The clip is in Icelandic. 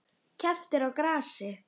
Keppt er á grasi.